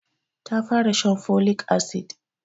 Ta fara shan folic acid